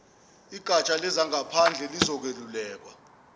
igatsha lezangaphandle lizokweluleka